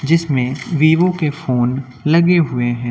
जिसमें वीवो के फोन लगे हुए हैं।